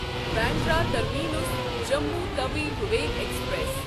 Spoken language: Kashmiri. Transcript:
Bandra terminus Jammu Tawi Vivek express